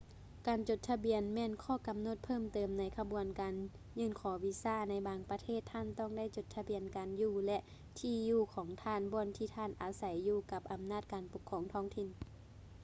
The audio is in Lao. ການຈົດທະບຽນແມ່ນຂໍ້ກໍານົດເພີ່ມເຕີມໃນຂະບວນການຍື່ນຂໍວີຊາ ໃນບາງປະເທດທ່ານຕ້ອງໄດ້ຈົດທະບຽນການຢູ່ ແລະ ທີ່ຢູ່ຂອງທ່ານບ່ອນທີ່ທ່ານອາໄສຢູ່ກັບອຳນາດການປົກຄອງທ້ອງຖິ່ນ